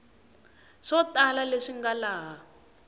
swo tala leswi nga laha